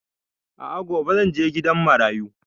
A'a gobe zan je gidan marayu